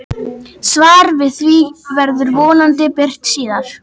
Svar við því verður vonandi birt síðar.